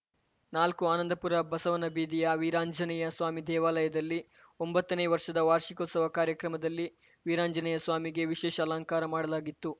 ನಾಲ್ಕು ಆನಂದಪುರ ಬಸವನಬೀದಿಯ ವೀರಾಂಜನೇಯ ಸ್ವಾಮಿ ದೇವಾಲಯದಲ್ಲಿ ಒಂಬತ್ತನೇ ವರ್ಷದ ವಾರ್ಷಿಕೋತ್ಸವ ಕಾರ್ಯಕ್ರಮದಲ್ಲಿ ವೀರಾಂಜನೇಯ ಸ್ವಾಮಿಗೆ ವಿಷೇಶ ಅಲಂಕಾರ ಮಾಡಲಾಗಿತ್ತು